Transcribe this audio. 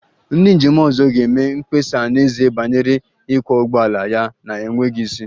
Ndị njem ọzọ ga-eme mkpesa n'ezie banyere ịkwọ ụgbọala ya na-enweghị isi